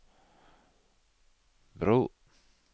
bro